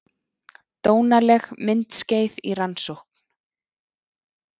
Dónaleg myndskeið í rannsókn